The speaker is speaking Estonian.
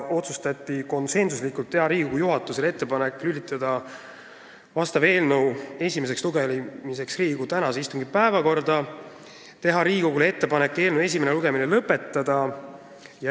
Otsustati konsensuslikult teha Riigikogu juhatusele ettepanek lülitada vastav eelnõu esimeseks lugemiseks Riigikogu tänase istungi päevakorda ja teha Riigikogule ettepanek eelnõu esimene lugemine lõpetada.